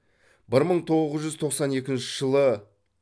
бір мың тоғыз жүз тоқсан екінші жылы